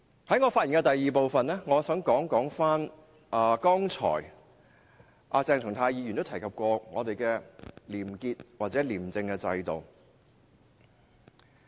在我發言的第二部分，我想討論鄭松泰議員剛才提到的廉潔或廉政制度。